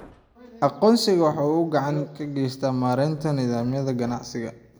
Aqoonsigu waxa uu gacan ka geystaa maareynta nidaamyada ganacsiga.